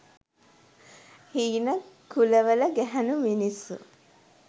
හීන කුලවල ගැහැනු මිනිස්සු.